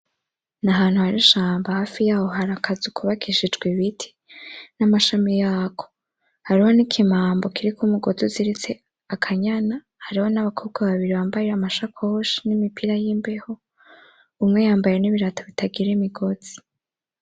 N'ahantu hari ishamba hafi yaho hari akazu kubakishijwe ibiti n'amashami yako. Hariho n'ikimambo kiriko umugozi uziritse akanyana. Hariho n'abakobwa babiri bambaye amashakoshi n'imipira y'imbeho ,umwe yambaye n'ibirato bitagira imigozi.